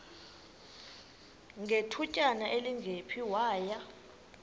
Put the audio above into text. ngethutyana elingephi waya